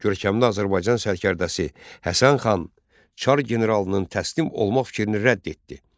Görkəmli Azərbaycan sərkərdəsi Həsən xan Çar generalının təslim olma fikrini rədd etdi.